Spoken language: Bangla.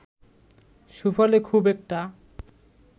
সুফলে খুব একটা